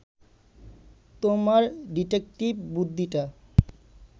তোমার ডিটেকটিভ বুদ্ধিটা